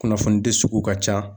Kunnafonidi sugu ka ca